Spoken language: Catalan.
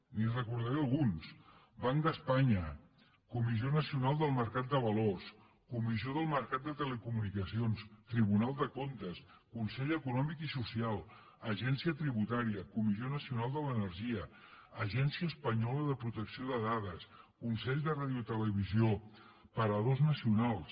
li’n recordaré alguns banc d’espanya comissió nacional del mercat de valors comissió del mercat de telecomunicacions tribunal de comptes consell econòmic i social agència tributària comissió nacional de l’energia agència espanyola de protecció de dades consell de radiotelevisió paradors nacionals